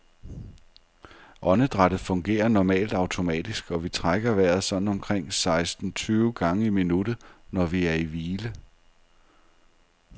Åndedrættet fungerer normalt automatisk, og vi trækker vejret sådan omkring seksten tyve gange i minuttet, når vi er i hvile.